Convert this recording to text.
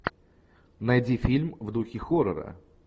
найди фильм в духе хоррора